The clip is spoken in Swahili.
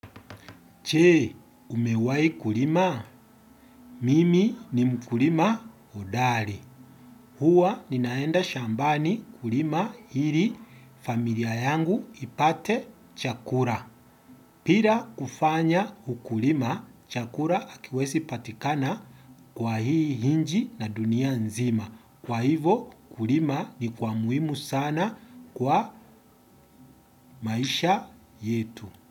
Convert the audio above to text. Je, umewahi kulima? Mimi ni mkulima hodari. Huwa ninaenda shambani kulima ili familia yangu ipate chakula. Bila kufanya ukulima, chakula hakiwezi patikana kwa hii inchi na dunia nzima. Kwa hivo, kulima ni kwa muhimu sana kwa maisha yetu.